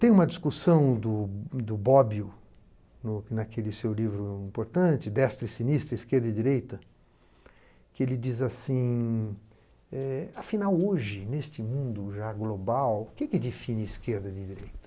Tem uma discussão do do Bobbio, no naquele seu livro importante, Destra e Sinistra, Esquerda e Direita, que ele diz assim, eh afinal hoje, neste mundo já global, o que que define esquerda e direita?